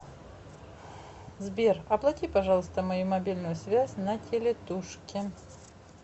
сбер оплати пожалуйста мою мобильную связь на телетушке